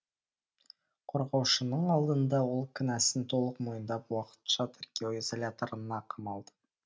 қорғаушының алдында ол кінәсін толық мойындап уақытша тергеу изоляторына қамалды